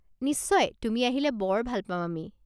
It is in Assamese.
নিশ্চয়, তুমি আহিলে বৰ ভাল পাম আমি।